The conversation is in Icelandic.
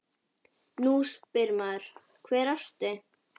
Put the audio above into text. Nú spyr maður: Hver orti?